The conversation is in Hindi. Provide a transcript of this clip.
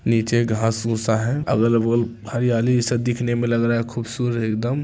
नीचे घास-भूसा है अगल-बगल हरियाली ई सब दिखने में लग रहा है खूबसूरत एकदम।